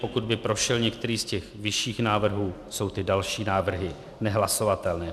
Pokud by prošel některý z těch vyšších návrhů, jsou ty další návrhy nehlasovatelné.